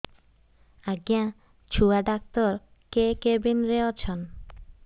ଆଜ୍ଞା ଛୁଆ ଡାକ୍ତର କେ କେବିନ୍ ରେ ଅଛନ୍